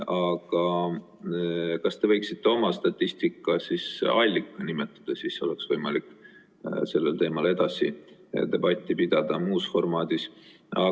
Aga kas te võiksite oma statistika allika nimetada, siis oleks võimalik sellel teemal edasi debatti pidada, muus formaadis?